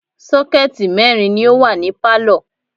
Sọ́kẹ̀tì mẹ́rin ni ó wà ní pálọ̀